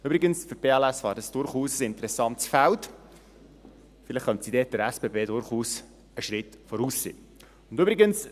Übrigens wäre dies für die BLS ein durchaus interessantes Feld, vielleicht könnten sie hier den SBB durchaus einen Schritt voraus sein.